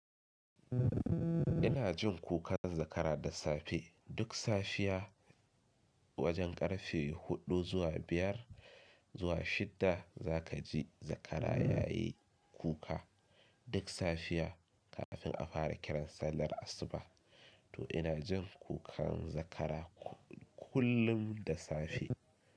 Ina jin kukan zakara da safe. Duk safiya wajen karfe huɗu zuwa biyar zuwa shidda za ka ji zakara ya yi kuka. Duk safiya kafin a fara kiran sallar asuba. To ina jin kukan zakara kullum da safe.